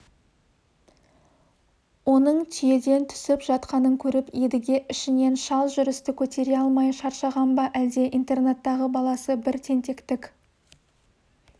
оның түйеден түсіп жатқанын көріп едіге ішінен шал жүрісті көтере алмай шаршаған ба әлде интернаттағы баласы бір тентектік